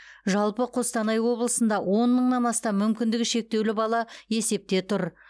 жалпы қостанай облысында он мыңнан астам мүмкіндігі шектеулі бала есепте тұр